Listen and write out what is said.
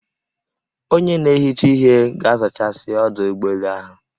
Onye na-ehicha ihe ga-azachasị ọdụ ụgbọ elu ahụ